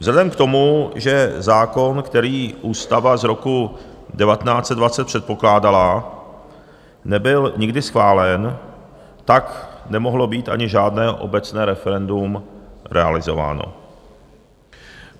Vzhledem k tomu, že zákon, který ústava z roku 1920 předpokládala, nebyl nikdy schválen, tak nemohlo být ani žádné obecné referendum realizováno.